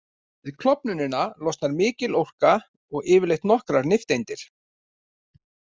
Við klofnunina losnar mikil orka og yfirleitt nokkrar nifteindir.